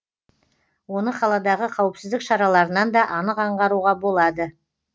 оны қаладағы қауіпсіздік шараларынан да анық аңғаруға болады